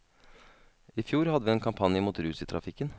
I fjor hadde vi en kampanje mot rus i trafikken.